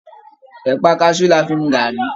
Ẹ̀pà kaṣú ni a fi mu gàárì